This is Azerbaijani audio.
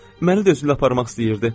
Məni də özüylə aparmaq istəyirdi.